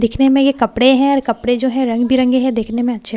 दिखने में ये कपडे़ हैं और कपडे़ जो हैं रंग बिरंगे हैं देखने में अच्छे लग --